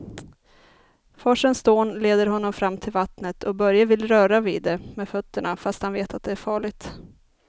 Forsens dån leder honom fram till vattnet och Börje vill röra vid det med fötterna, fast han vet att det är farligt.